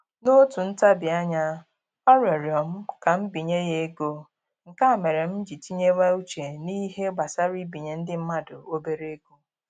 N'otu ntabianya, ọ rịọrọ m ka m binye ya ego, nke a mere m ji tinyewe uche n'ihe gbasara ibinye ndị mmadụ obere ego